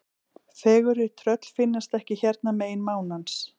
Fegurri tröll finnast ekki hérna megin mánans.